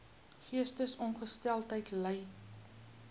geestesongesteldheid ly